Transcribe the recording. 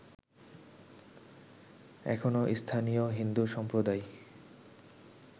এখনো স্থানীয় হিন্দু সম্প্রদায়